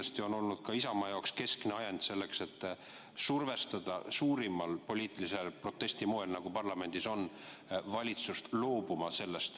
See on olnud ka Isamaa jaoks keskne ajend, soov survestada valitsust suure poliitilise protestiga, nagu parlamendis praegu on, sellest loobuma.